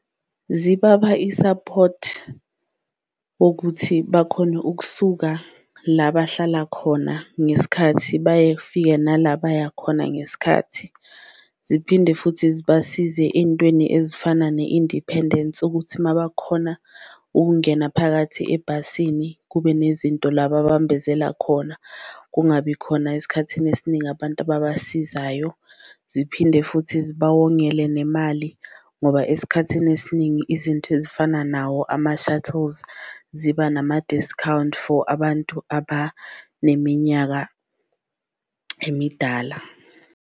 Zibapha i-support wokuthi bakhone ukusuka la bahlala khona ngesikhathi nala baya khona ngesikhathi, ziphinde futhi zibasize ey'ntweni ezifana ne-independence ukuthi uma bakhona ukungena phakathi ebhasini kube nezinto la babambezela khona. Kungabi khona esikhathini esiningi abantu ababasizayo, ziphinde futhi zibawongele nemali ngoba esikhathini esiningi izinto ezifana nawo ama-shuttles ziba nama-discount for abantu abaneminyaka emidala.